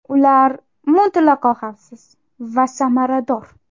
Ular mutlaqo xavfsiz va samarador.